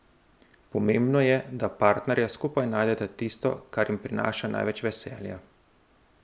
Pomembno je, da partnerja skupaj najdeta tisto, kar jima prinaša največ veselja.